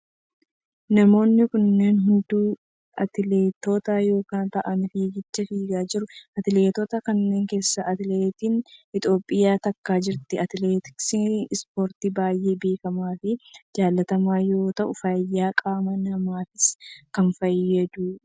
Namoonni kunneen hunduu atileetota yoo ta'aan fiigicha fiigaa jiru. Atileetota kanneen keessa atileetin Itiyoophiyaa takka jirti. Atileetiksiin ispoortii baayyee beekamaa fi jaalatamaa yoo ta'u fayyaa qaama namaafis kan fayyadu dha.